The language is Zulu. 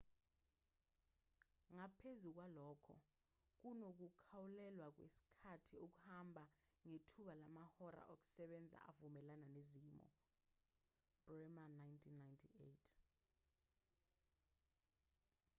ngaphezu kwalokho kunokukhawulelwa kwesikhathi okumbalwa ngethuba lamahora okusebenza avumelana nezimo. bremer 1998